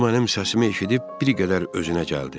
O mənim səsimi eşidib bir qədər özünə gəldi.